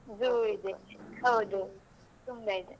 Zoo ಇದೆ ಹೌದು ತುಂಬಾ ಇದೆ.